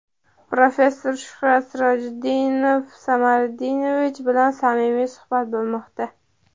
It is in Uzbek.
professor Shuhrat Sirojiddinov Samariddinovich bilan samimiy suhbat bo‘lmoqda.